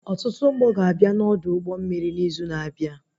Ọtụtụ ụgbọ ga-abịa na Ọdụ ụgbọ mmiri n'izu na-abịa